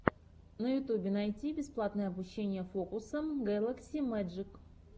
на ютьюбе найти бесплатное обучение фокусам гэлакси мэджик